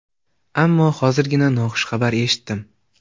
Ammo hozirgina noxush xabar eshitdim.